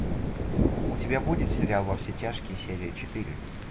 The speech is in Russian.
у тебя будет сериал во все тяжкие серия четыре